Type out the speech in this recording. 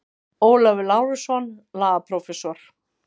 Ólafur Lárusson, lagaprófessor.